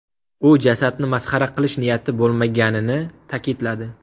U jasadni masxara qilish niyati bo‘lmaganini ta’kidladi.